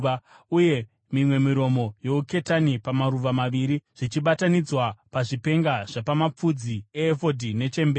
uye mimwe miromo youketani pamaruva maviri, zvichibatanidzwa pazvipenga zvapamapfudzi eefodhi nechemberi.